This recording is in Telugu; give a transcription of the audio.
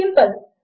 సింపుల్